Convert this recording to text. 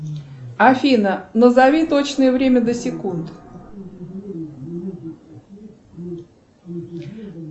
афина назови точное время до секунд